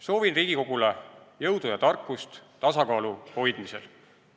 Soovin Riigikogule jõudu ja tarkust tasakaalu hoidmisel.